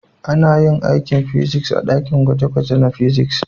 Ana yin aikin fiziks a dakin gwaje-gwaje na fiziks.